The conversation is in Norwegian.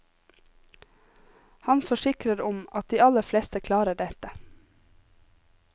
Han forsikrer om at de aller fleste klarer dette.